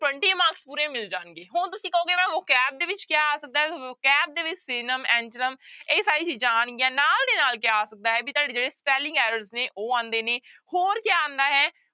twenty marks ਪੂਰੇ ਮਿਲ ਜਾਣਗੇ, ਹੁਣ ਤੁਸੀਂ ਕਹੋਗੇ ਵੀ vocabulary ਦੇ ਵਿੱਚ ਕਿਆ ਆ ਸਕਦਾ ਹੈ vocabulary ਦੇ ਵਿੱਚ synonym, antonym ਇਹ ਸਾਰੀਆਂ ਚੀਜ਼ਾਂ ਆਉਣਗੀਆਂ, ਨਾਲ ਦੀ ਨਾਲ ਕਿਆ ਆ ਸਕਦਾ ਹੈ ਵੀ ਤੁਹਾਡੇ ਜਿਹੜੇ spelling errors ਨੇ ਉਹ ਆਉਂਦੇ ਨੇ, ਹੋਰ ਕਿਆ ਆਉਂਦਾ ਹੈ